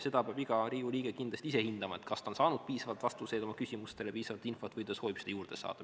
Seda peab iga Riigikogu liige kindlasti ise hindama, kas ta on saanud piisavalt vastuseid oma küsimustele, piisavalt infot, või ta soovib seda juurde saada.